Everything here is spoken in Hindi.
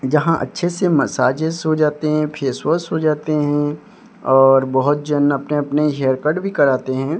यहां अच्छे से मसाजेस हो जाते हैं फेस वॉश हो जाते हैं और बहुत जन अपने अपने हेयर कट भी कराते हैं।